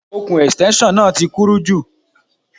Okùn Ẹ̀stẹ́nṣọ̀n náà ti kúrú jù.